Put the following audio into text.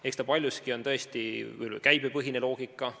Eks paljuski on tõesti mängus käibepõhine loogika.